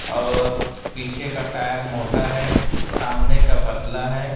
और पीछे का टायर मोटा है सामने का पतला है।